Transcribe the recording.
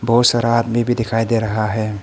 बहोत सारा आदमी भी दिखाई दे रहा है।